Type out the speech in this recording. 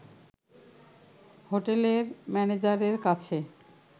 হোটেলের ম্যানেজারের কাছে